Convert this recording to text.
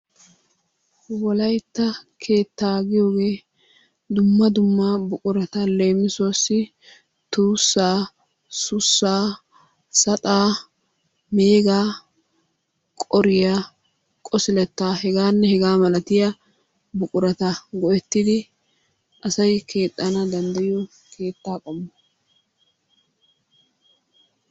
Wolaytta keettaa giyogee dumma dumma buqurata leemisuwaassi tuussaa, sussaa, saxaa, meegaa, qoriyaa qosilettaa hegaanne hegaa malatiya buqurata go"ettidi asay keexxana dandayiyoo keettaa qommo.